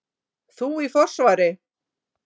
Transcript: Þú í forsvari.